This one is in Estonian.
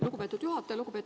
Lugupeetud juhataja!